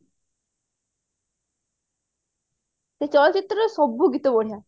ସେ ଚଳଚିତ୍ର ରେ ସବୁ ଗୀତ ବଢିଆ